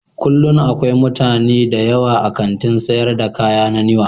Kullum akwai mutane da yawa a kantin sayar da kaya na Niwa